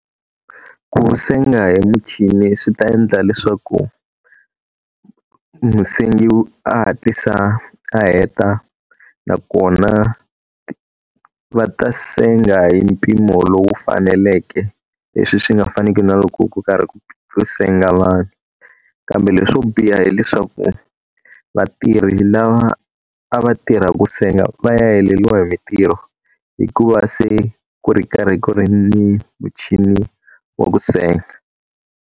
Ku senga hi muchini swi ta endla leswaku, musengi a hatlisa a heta nakona va ta senga hi mpimo lowu faneleke, leswi swi nga faniki na loko ku karhi ku senga vanhu. Kambe leswo biha hileswaku vatirhi lava a va tirhaka ku senga va ya heleriwa hi mintirho, hikuva se ku ri karhi ku ri ni muchini wa ku senga.